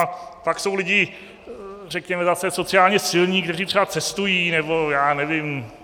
A pak jsou lidé řekněme zase sociálně silní, kteří třeba cestují, nebo já nevím...